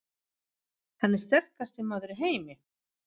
Hann er sterkasti maður í heimi!